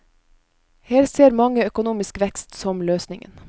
Her ser mange økonomisk vekst som løsningen.